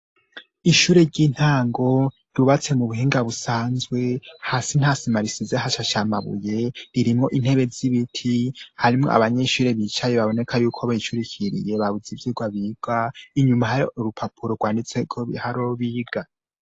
Ishure ry'intango ryubatse mu buhinga busanzwe hasi ntasima risize hashashe amabuye ririmwo intebe z'ibiti harimwo abanyeshure bicaye baboneka y'uko bicurikiriye babuze ivyigwa biga inyuma hariho urupapuro rwanditseko ibiharuro biga.